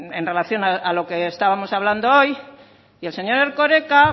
en relación a lo que estábamos hablando hoy y el señor erkoreka